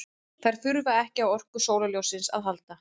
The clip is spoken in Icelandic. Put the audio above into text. Þær þurfa ekki á orku sólarljóssins að halda.